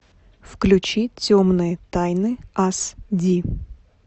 включи темные тайны ас ди